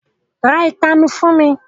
Ra ìpanu fún mi!